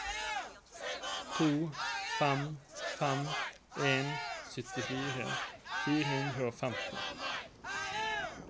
to fem fem en syttifire fire hundre og femti